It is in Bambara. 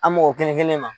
An mɔgɔ kelen kelen ma